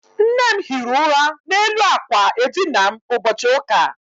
Nne m hiri ụra n'elu àkwà edina m ụbọchị ụka.